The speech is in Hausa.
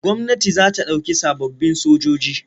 Gwamnati za ta ɗauki sababbin sojoji.